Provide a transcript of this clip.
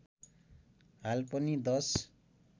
हाल पनि दश